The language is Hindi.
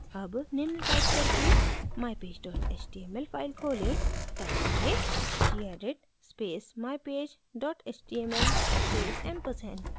अब निम्न टाइप करके mypage html file खोलें टाइप करें gedit space mypage html space ampersand